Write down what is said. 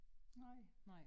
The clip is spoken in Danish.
Nej